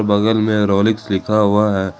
बगल में रोलिक्स लिखा हुआ है।